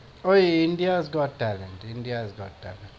ওই India's got talent. India's got talent.